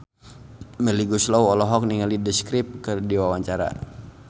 Melly Goeslaw olohok ningali The Script keur diwawancara